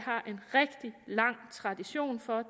har en rigtig lang tradition for